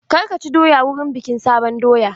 Kar ka ci doya wurin bikin sabon doya!